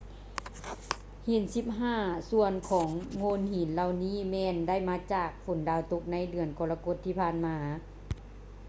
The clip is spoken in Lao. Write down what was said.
ຫີນສິບຫ້າສ່ວນຂອງໂງ່ນຫີນເຫລົ່ານີ້ແມ່ນໄດ້ມາຈາກຝົນດາວຕົກໃນເດືອນກໍລະກົດທີ່ຜ່ານມາ